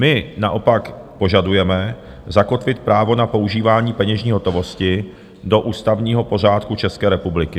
My naopak požadujeme zakotvit právo na používání peněžní hotovosti do ústavního pořádku České republiky.